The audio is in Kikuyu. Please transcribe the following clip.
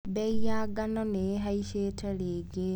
Mbei ya ngano nĩihacĩte rĩngĩ.